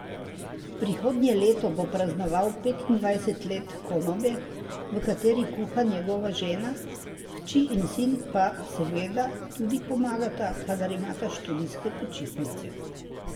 Prihodnje leto bo praznoval petindvajset let konobe, v kateri kuha njegova žena, hči in sin pa seveda tudi pomagata, kadar imata študijske počitnice.